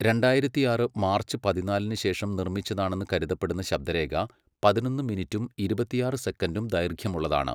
രണ്ടായിരത്തിയാറ് മാർച്ച് പതിനാലിന് ശേഷം നിർമ്മിച്ചതാണെന്ന് കരുതപ്പെടുന്ന ശബ്ദരേഖ പതിനൊന്ന് മിനിറ്റും ഇരുപത്തിയാറ് സെക്കൻഡും ദൈർഘ്യമുള്ളതാണ്.